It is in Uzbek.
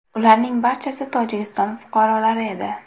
Ularning barchasi Tojikiston fuqarolari edi.